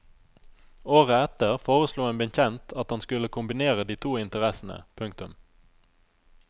Året etter foreslo en bekjent at han skulle kombinere de to interessene. punktum